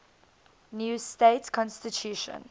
new state constitution